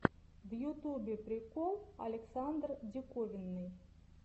в ютубе прикол александр диковинный